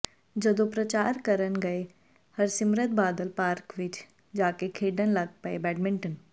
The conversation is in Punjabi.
ਜਦੋ ਪ੍ਰਚਾਰ ਕਰਨ ਗਏ ਹਰਸਿਮਰਤ ਬਾਦਲ ਪਾਰਕ ਵਿੱਚ ਜਾਕੇ ਖੇਡਣ ਲੱਗ ਪਏ ਬੈਡਮਿੰਟਨ